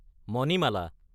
Manimala